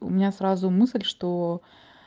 у меня сразу мысль что